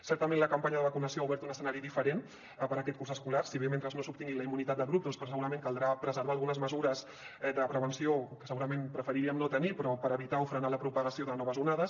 certament la campanya de vacunació ha obert un escenari diferent per a aquest curs escolar si bé mentre no s’obtingui la immunitat de grup segurament caldrà preservar algunes mesures de prevenció que segurament preferiríem no tenir però és per evitar o frenar la propagació de noves onades